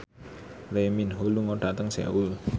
Lee Min Ho lunga dhateng Seoul